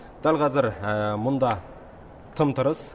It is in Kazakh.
дәл қазір мұнда тым тырыс